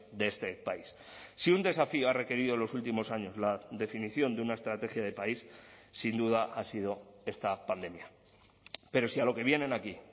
de este país si un desafío ha requerido en los últimos años la definición de una estrategia de país sin duda ha sido esta pandemia pero si a lo que vienen aquí